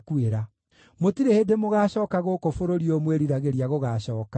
Mũtirĩ hĩndĩ mũgaacooka gũkũ bũrũri ũyũ mwĩriragĩria gũgaacooka.”